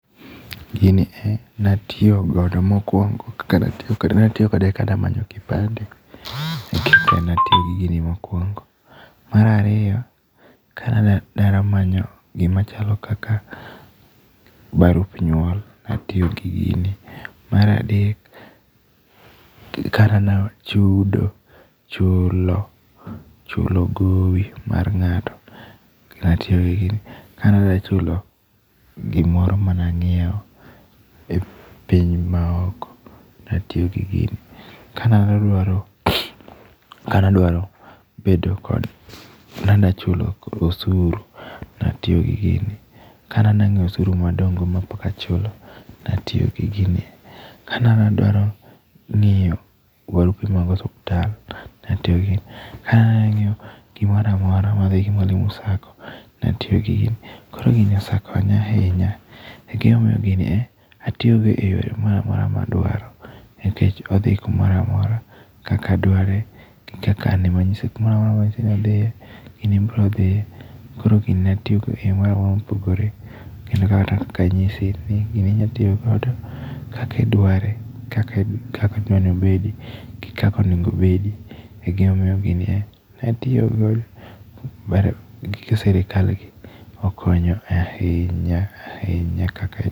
Gini e ne atiyo godo mokuongo kane atiyo kode ne atiyokode kane amanyo kipande. Mar ariyo kane an dala kamanyo gima chalo kaka barup nyuol ne atiyo gi gini. Mar adek kana dwa chudo, chulo, chulo gowi mar ng'ato ne atiyo gi gino, kane adwa chulo gimoro mane anyiewo e piny maoko ne atiyo gi gini. Kane adwaro kane adwaro bedo kod kana dwaro chulo osuru ne atiyo gi gini. Kane adwa ng'iyomosuru madong' go mapok achulo, ne atiyo gingini. Kane adwaro ng'iyo barupe mag osiptal ne atiyo gi gini. Ka ne ang'iyo gimoro amora madhi gi mwalimu sacco ne atiyo gi gini. Koro gini osekonya ahinya e gima miyo gini e atiyo go e yore moro amora ma adwaro nikech odhi kumoro amora kaka adware, gi kaka anyise kumoro amora manyise modhiye, gini biro dhiye koro gini atiyogo eyore moro amora mopogore. Kendo mana kaka anyise, gini inyalo tiyo godo kaka idware, kaka idwa nobedi gi kaka onego obedi e gima omiyo gini e ne atiyo godo mar gige sirkal gi okonyo ahinya ahinya.